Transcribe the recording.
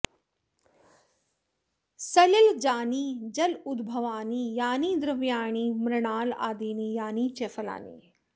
सलिलजानि जलोद्भवानि यानि द्रव्याणि मृणालादीनि यानि च फलानि